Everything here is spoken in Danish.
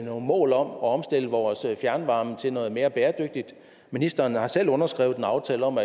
nogle mål om at omstille vores fjernvarme til noget mere bæredygtigt ministeren har selv underskrevet en aftale om